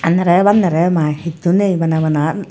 nare bandre mai hissu nai bana bana.